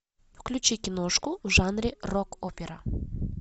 включи киношку в жанре рок опера